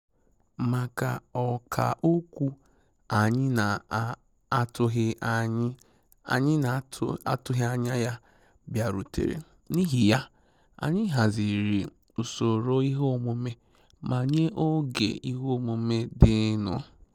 Makà Ọkà okwu anyị na-atụghị anyị na-atụghị anya ya bịarutere, n’ihi ya, anyị haziri usoro ihe omume ma nye oge ihe omume dịnụ.